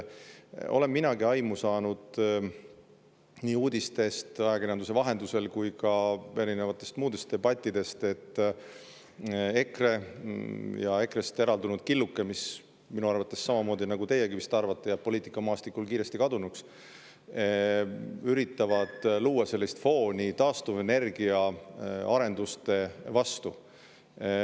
Olen minagi aimu saanud nii uudistest, ajakirjanduse vahendusel kui ka muudest debattidest, et EKRE ja EKRE-st eraldunud killuke, mis minu arvates, samamoodi nagu teiegi vist arvate, kaob poliitikamaastikult kiiresti, üritavad luua fooni taastuvenergia arenduste vastu.